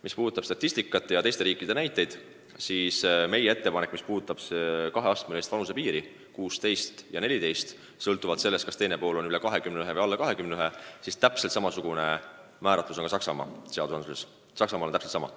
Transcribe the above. Mis puudutab statistikat ja teiste riikide näiteid, siis meie lahendus kehtestada kaheastmeline vanusepiir –16 ja 14 sõltuvalt sellest, kas teine pool on üle 21 või alla 21 –, siis täpselt samasugune regulatsioon on Saksamaa seadusandluses.